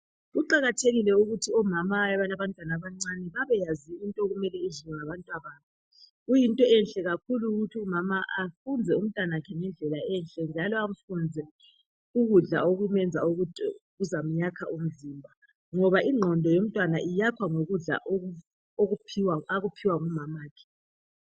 Kuqakathekile ukuthi omama abalabantwana abancane babeyazi into okumele idliwe ngabantwa babo. Kuyinto enhle kakhulu ukuthi umama afunze umntanakhe ngendlela enhle njalo amfunze ukudla okumenza ukuthi kuzamyakha umzimba ngoba ingqondo yomntwana iyakhwa yikudla akuphiwa ngumamakhe.